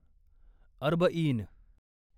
अर्बईन